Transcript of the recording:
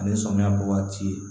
Ani samiya bɔ waati